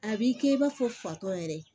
A b'i kɛ i b'a fɔ fatɔ yɛrɛ